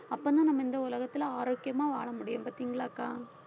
அப்பதான் நம்ம இந்த உலகத்துல ஆரோக்கியமா வாழ முடியும் பாத்தீங்களாக்கா